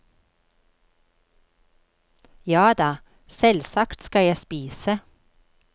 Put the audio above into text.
Jada, selvsagt skal jeg spise.